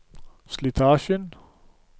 slitasjen